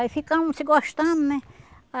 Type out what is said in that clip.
Aí ficamos se gostando, né?